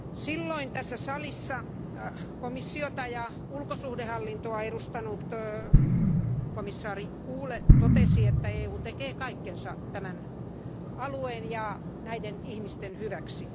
Silloin tässä salissa komissiota ja ulkosuhdehallintoa edustanut komissaari totesi, että EU tekee kaikkensa tämän alueen ja näiden ihmisten hyväksi.